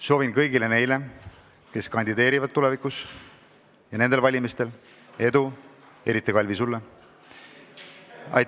Soovin kõigile neile, kes kandideerivad nendel või tulevastel valimistel, edu, eriti, Kalvi, sulle!